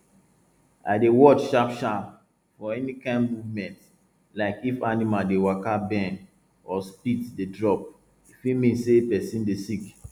i dey watch sharpsharp for any kine movement like if animal dey waka bend or spit dey drop e fit mean say person dey sick